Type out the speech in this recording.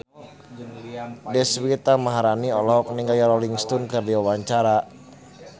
Deswita Maharani olohok ningali Rolling Stone keur diwawancara